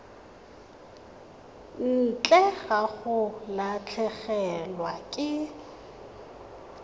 ntle ga go latlhegelwa ke